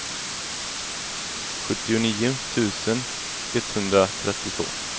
sjuttionio tusen etthundratrettiotvå